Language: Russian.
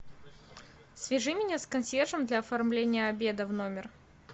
свяжи меня с консьержем для оформления обеда в номер